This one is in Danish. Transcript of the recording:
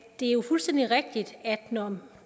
det er fuldstændig rigtigt at når